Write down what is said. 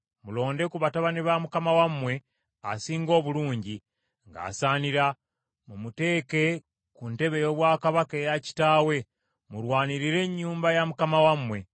mulonde ku batabani ba mukama wammwe asinga obulungi, ng’asaanira, mumuteeke ku ntebe ey’obwakabaka eya kitaawe, mulwanirire ennyumba ya mukama wammwe.”